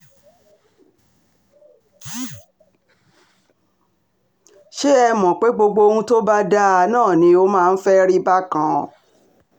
ṣé ẹ um mọ̀ pé gbogbo ohun tó bá dáa náà ni ó máa ń fẹ́ẹ́ rí bákan um